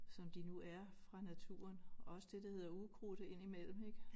Som de nu er fra naturen også det der hedder ukrudt indimellem ik